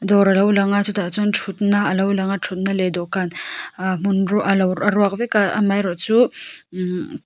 dawr a lo lang a chutah chuan thutna a lo lang a thutna leh dawhkan ah hmun ruak a lo a ruak vek a a mah erawh chu imm.